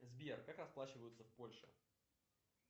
сбер как расплачиваются в польше